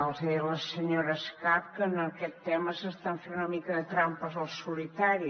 els deia la senyora escarp que en aquest tema s’estan fent una mica de trampes al solitari